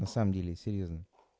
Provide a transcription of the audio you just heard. на самом деле серьёзно